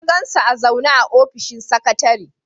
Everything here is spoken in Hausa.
Na gan su a zaune a ofishin sakatare.